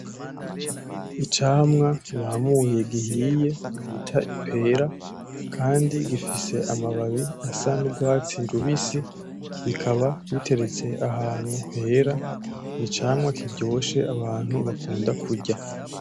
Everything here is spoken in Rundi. Icamwa bamuye gihiye bita ipera, kandi gifise amababi asa n'urwatsi rubisi rikaba riteretse ahantu Hera ,n'icamwa kiryoshe Abantu bakunda kurya.